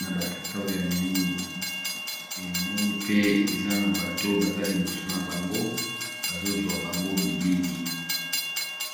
na batata oyo ya miindu e namoni pe eza na bato baza liboso na bango bazozwa bango bilili